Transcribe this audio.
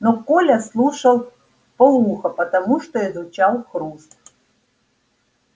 но коля слушал в пол уха потому что изучал хруст